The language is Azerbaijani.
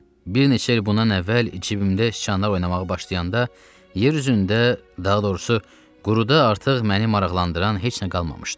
Bir neçə il bundan əvvəl cibimdə şçanlar oynamağa başlayanda yer üzündə, daha doğrusu, quruda artıq məni maraqlandıran heç nə qalmamışdı.